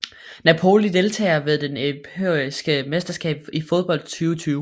Napoli Deltagere ved det europæiske mesterskab i fodbold 2020